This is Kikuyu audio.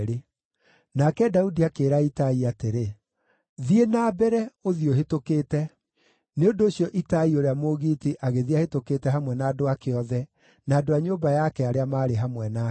Nake Daudi akĩĩra Itai atĩrĩ, “Thiĩ na mbere, ũthiĩ ũhĩtũkĩte.” Nĩ ũndũ ũcio Itai ũrĩa Mũgiiti agĩthiĩ ahĩtũkĩte hamwe na andũ ake othe, na andũ a nyũmba yake arĩa maarĩ hamwe nake.